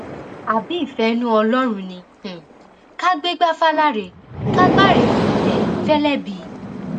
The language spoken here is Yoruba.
àbí ìfẹinú ọlọrun ni um ká gbégbá fàlàrẹ ká gbárẹ um fẹlẹbí